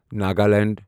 Nagaland